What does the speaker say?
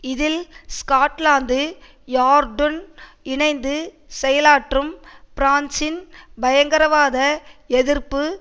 இதில் ஸ்காட்லாந்து யார்டுன் இணைந்து செயலாற்றும் பிரான்சின் பயங்கரவாத எதிர்ப்பு